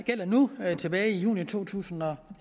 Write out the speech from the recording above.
gælder nu tilbage i juni to tusind og